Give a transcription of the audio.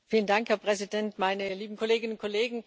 Herr Präsident, meine lieben Kolleginnen und Kollegen!